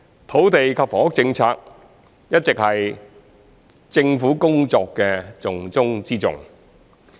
土地及房屋政策一直是政府工作的重中之重。